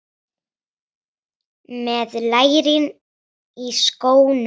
Með lærin í skónum.